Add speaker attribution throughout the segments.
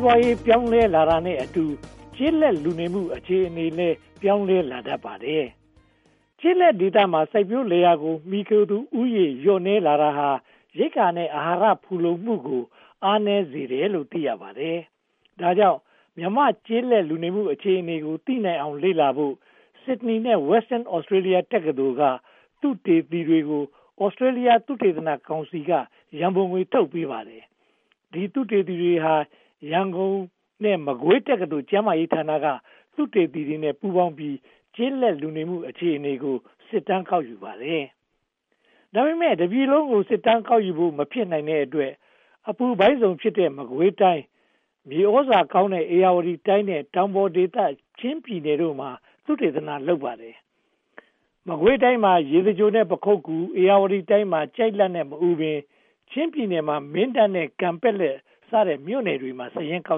Speaker 1: းပွားရေး ပြောင်းလဲလာတာနဲ့အတူ ကျေးလက်လူနေမှု အခြေအနေလည်း ပြောင်းလဲလာတတ်ပါတယ်။ ကျေးလက်ဒေသမှာ စိုက်ပျိုးလယ်ယာကို မှီခိုသူဦးရေ လျှော့နည်းလာတာဟာ ရိက္ခာနဲ့ အဟာရ ဖူလုံမှုကို အားနည်းစေတယ်လို့ သိရပါတယ်။ ဒါကြောင့် မြန်မာ့ကျေးလက်လူနေမှု အခြေအနေကို သိနိုင်အောင် လေ့လာနိုင်ဖို့ Sydney နဲ့ Western Australia တက္ကသိုလ်က သုတေသီတွေကို Australia သုတေသနကောင်စီက ရန်ပုံငွေ ထုတ်ပေးပါတယ်။ ဒီ သုတေသီတွေဟာ ရန်ကုန် နဲ့ မကွေးတက္ကသိုလ် ကျန်းမာရေးဌာနက သုတေသီတွေနဲ့ ပူးပေါင်းပြီး ကျေးလက်လူနေမှု အခြေအနေကို စစ်တမ်းကောက်ယူပါတယ်။ ဒါပေမဲ့ တတိုင်းပြည်လုံးကို စစ်တမ်းကောက်ယူဖို့ မဖြစ်နိုင်တဲ့အတွက် အပူပိုင်းဇုန်ဖြစ်တဲ့ မကွေးတိုင်း၊ မြေသြဇာကောင်းတဲ့ ဧရာဝတီတိုင်း နဲ့ တောင်ပေါ်ဒေသ ချင်းပြည်နယ်တို့မှာ သုတေသန လုပ်ပါတယ်။ မကွေးတိုင်းမှာ ရေစကြို နဲ့ ပခုက္ကူ၊ ဧရာဝတီတိုင်းမှာ ကျိုက်လတ် နဲ့ မအူပင်၊ ချင်းပြည်နယ်မှာ မင်းတပ် နဲ့ ကန်ပက်လက် စတဲ့မြို့တွေမှာ စာရင်းကော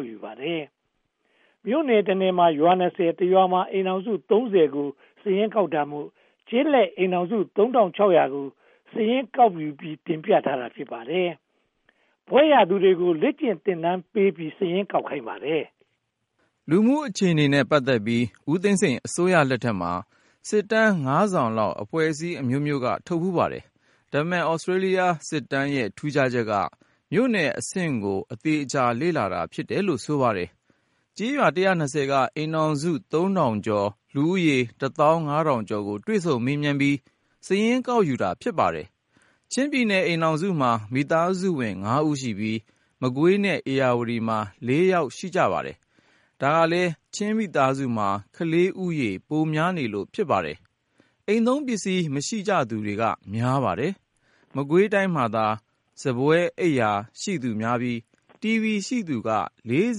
Speaker 1: က်ယူပါတယ်။ မြို့နယ်တနယ်မှာ ရွာ (၂၀)၊ တရွာမှာ အိမ်ထောင်စု (၃၀) ကို စာရင်းကောက်တာမို့ ကျေးလက်အိမ်ထောင်စု (၃၆၀၀) ကို စာရင်းကောက်ယူပြီး တင်ပြထားတာ ဖြစ်ပါတယ်။ ဘွဲ့ရသူတွေကို လေ့ကျင့်သင်တန်းပေးပြီး စာရင်းကောက်ခိုင်းပါတယ်။
Speaker 2: လူနေမှုအခြေအနေနဲ့ ပတ်သက်ပြီး ဦးသိန်းစိန်အစိုးရလက်ထက်မှာ စစ်တမ်း (၅) စောင်လောက် အဖွဲ့အစည်းအမျိုးမျိုး ထုတ်ဖူးပါတယ်။ ဒါပေမဲ့ Australia စစ်တမ်းရဲ့ ထူးခြားချက်က မြို့နယ်အဆင့်ကို အသေအချာ လေ့လာတာ ဖြစ်တယ်လို့ ဆိုပါတယ်။ ကျေးရွာ (၁၂၀) က အိမ်ထောင်စု (၃) ထောင်ကျော်၊ လူဦးရေ (၁) သောင်း (၅) ထောင်ကျော်ကို တွေ့ဆုံမေးမြန်းပြီး စာရင်းကောက်ယူတာ ဖြစ်ပါတယ်။ ချင်းပြည်နယ် အိမ်ထောင်စုမှာ မိသားစုဝင် (၅) ဦးရှိပြီး၊ မကွေးနဲ့ ဧရာဝတီမှာ (၄) ယောက် ရှိပါတယ်။ ဒါကလဲ ချင်းမိသားစုမှာ ကလေးဦးရေ ပိုများနေလို့ ဖြစ်ပါတယ်။ အိမ်သုံးပစ္စည်း မရှိကြသူက များပါတယ်။ မကွေးတိုင်းမှာသာ စားပွဲ၊ အိပ်ရာ ရှိသူများပြီး၊ တီဗီ ရှိသူက (၄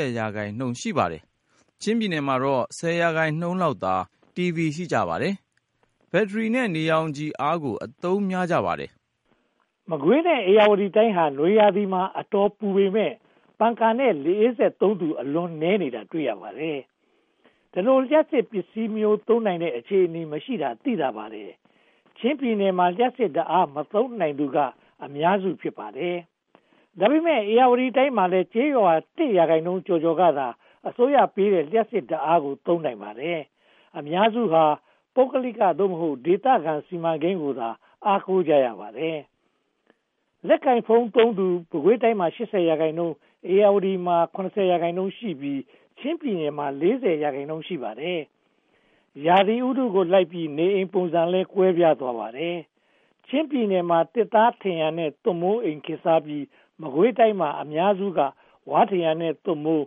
Speaker 2: ၀) ရာခိုင်နှုန်းသာ ရှိပါတယ်။ ချင်းပြည်နယ်မှာတော့ (၁၀) ရာခိုင်နှုန်းလောက်သာ တီဗီ ရှိကြပါတယ်။ ဘက်ထရီ နဲ့ နေရောင်ခြည်ကို အားကိုးအသုံးများပါတယ်
Speaker 1: ။ မကွေးနဲ့ ဧရာဝတီတိုင်းဟာ နွေရာသီမှာ အတော်ပူပေမယ့် ပန်ကာနဲ့ လေအေးစက်သုံးသူ အလွန်နည်းနေတာ တွေ့ရပါတယ်။ ဒီလို လျှပ်စစ်ပစ္စည်း သုံးနိုင်တဲ့ အခြေအနေမရှိတာ သိသာပါတယ်။ ချင်းပြည်နယ်မှာ လျှပ်စစ်ဓါတ်အား မသုံးနိုင်သူက အများစု ဖြစ်ပါတယ်။ ဒါပေမဲ ဧရာဝတီတိုင်းမှာလည်း ကျေးရွာ (၁) ရာခိုင်နှုန်းကျော်ကျော်ကသာ အစိုးရပေးတဲ့ လျှပ်စစ်ဓါတ်အားကို သုံးနိုင်ပါတယ်။ အများစုဟာ ပုဂ္ဂလိက (သို့မဟုတ်) ဒေသခံ စီမံကိန်းကိုသာ အားကိုကြပါတယ်။ လက်ကိုင်ဖုန်းသုံးသူ မကွေးတိုင်းမှာ (၈၀) ရာခိုင်နှုန်း၊ ဧရာဝတီတိုင်းမှာ (၇၀) ရာခိုင်နှုန်းရှိပြီး၊ ချင်းပြည်နယ်မှာ (၄၀) ရာခိုင်နှုန်း ရှိပါတယ်။ ရာသီဥတုလိုက်ပြီး နေအိမ်ပုံစံတွေလည်း ကွဲပြားသွားပါတယ်။ ချင်းပြည်နယ်မှာ သစ်သားထရံနဲ့ သွပ်မိုးအိမ် ခေတ်စားပြီး၊ မကွေးတိုင်းမှာ အများစုက ဝါးထရံနဲ့ သွပ်မိုး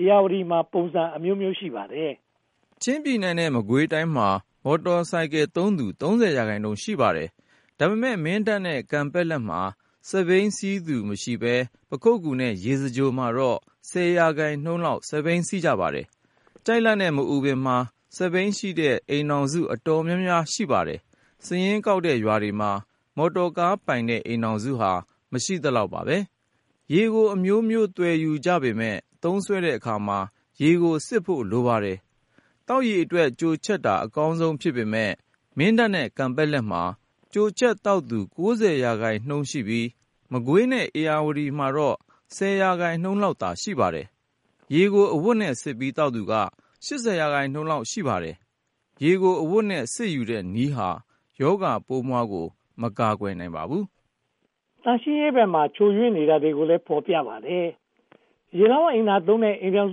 Speaker 1: ၊ ဧရာဝတီတိုင်းမှာလည်း ပုံစံအမျိုးမျိုး ရှိပါတယ်
Speaker 2: ။ ချင်းပြည်နယ်နဲ့ မကွေးတိုင်းမှာ မော်တော်ဆိုင်ကယ်သုံးသူ (၃၀) ရာခိုင်နှုန်း ရှိပါတယ်။ ဒါပေမဲ့ မင်းတပ်နဲ့ ကန်ပက်လက်မှာ စက်ဘီး စီးသူမရှိဘဲ၊ ပခုက္ကူနဲ့ ရေစကြိုမှာတော့ (၁၀) ရာခိုင်နှုန်းလောက် စက်ဘီး စီးကြပါတယ်။ ကျိုက်လတ်နဲ့ မအူပင်မှာ စက်ဘီးရှိတဲ့ အိမ်ထောင်စု အတော်များပါတယ်။ စာရင်းကောက်တဲ့ရွာတွေမှာ မော်တော်ကားပိုင်တဲ့ အိမ်ထောင်စုဟာ မရှိသလောက်ပါ။ ရေကိုအမျိုးမျိုး သွယ်ယူကြပေမယ့် မင်းတပ်နဲ့ ကန်ပက်လက်မှာ ကြိုချက်သောက်သူ (၉၀) ရာခိုင်နှုန်းရှိပြီး၊ မကွေးနဲ့ ဧရာဝတီမှာတော့ (၁၀) ရာခိုင်နှုန်းလောက်သာ ရှိပါတယ်။ ရေကို အဝတ်နဲ့စစ်ပြီး သောက်သူက (၈၀) ရာခိုင်နှုန်းလောက် ရှိပါတယ်။ ရေကို အဝတ်နဲ့စစ်ယူတဲ့နည်းဟာ ရောဂါပိုးမွှားကို မကာကွယ်နိုင်ပါဘူး
Speaker 1: ။ သန့်ရှင်းရေးဘက်မှာ ချို့ယွင်းနေတာတွေကိုလည်း ဖော်ပြပါတယ်။ ရေလောင်းအိမ်သာသုံးတဲ့ အိမ်ထောင်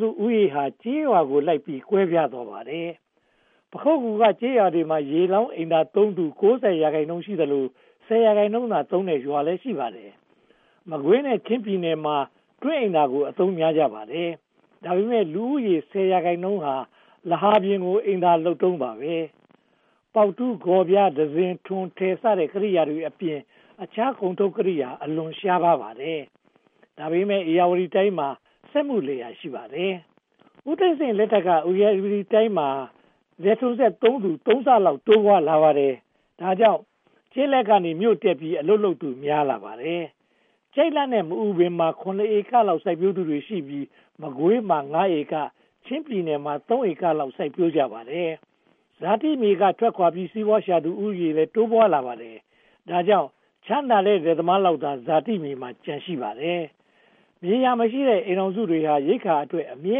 Speaker 1: စုဦးရေဟာ ကျေးရွာကိုလိုက်ပြီး ကွဲပြားသွားပါတယ်။ ပခုက္ကူက ကျေးရွာတွေမှာ ရေလောင်းအိမ်သာသုံးသူ (၉၀) ရာခိုင်နှုန်း ရှိသလို၊ (၁၀) ရာခိုင်နှုန်းသာသုံးတဲ့ ရွာတွေလည်း ရှိပါတယ်။ မကွေးနဲ့ ချင်းပြည်နယ်မှာ တွင်းအိမ်သာကိုသာ အသုံးများကြပါတယ်။ ဒါပေမဲ့ လူဦးရေ (၁၀) ရာခိုင်နှုန်းဟာ လဟာပြင်ကို အိမ်သာလုပ်တုန်းပါ။ ပေါက်တူး၊ ဂေါ်ပြား၊ တံစဉ်၊ ထွန်ထယ်စတဲ့ ကိရိယာတွေအပြင် အခြားကုန်ထုတ်ကိရိယာတွေ အလွန်ရှားပါးပါတယ်။ ဒါပေမဲ့ ဧရာဝတီတိုင်းမှာ စက်မှုလယ်ယာ ရှိပါတယ်။ ဦးသိန်းစိန်လက်ထက်က ဧရာဝတီတိုင်းမှာ လယ်ထွန်းစက်သုံးသူ (၃) ဆလောက် တိုးပွားလာပါတယ်။ ဒါကြောင့် ကျေးလက်ကနေ မြို့တက်ပြီး အလုပ်လုပ်သူ များပြားလာပါတယ်။ ကျိုက်လတ်နဲ့ မအူပင်မှာ (၇) ဧကလောက် စိုက်ပျိုးသူတွေရှိပြီး၊ မကွေးမှာ (၅) ဧက၊ ချင်းပြည်နယ်မှာ (၃) ဧကလောက် စိုက်ပျိုးကြပါတယ်။ ဇာတိမြေက ထွက်ခွါပြီး စီးပွားရှာသူ ဦးရေလည်း တိုးပွားလာပါတယ်။ ဒါကြောင့် ချမ်းသာတဲ့ လယ်သမားလောက်သာ ဇာတိမြေမှာ ကျန်ရှိနေပါတယ်။ မြေယာမရှိတဲ့ မိသားစုတွေဟာ ရိက္ခာအတွက် အမြဲ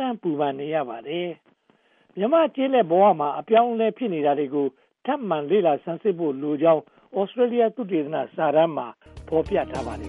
Speaker 1: တမ်း ပူပန်နေရပါတယ်။ မြန်မာ့ကျေးလက်ဘဝမှာ အပြောင်းအလဲ ဖြစ်နေတာကို ထပ်မံလေ့လာ ဆန်းစစ်ဖို့လိုကြောင်း Australia သုတေသီစစ်တမ်းမှာ ဖော်ပြထားပါတယ်